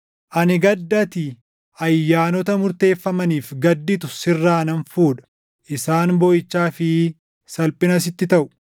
“Ani gadda ati ayyaanota murteeffamaniif gadditu sirraa nan fuudha; isaan booʼichaa fi salphina sitti taʼu.